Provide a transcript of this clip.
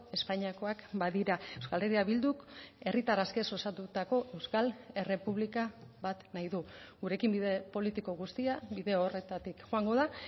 espainiakoak badira euskal herria bilduk herritar askez osatutako euskal errepublika bat nahi du gurekin bide politiko guztia bide horretatik joango da